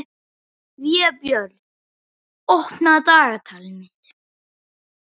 Vébjörn, opnaðu dagatalið mitt.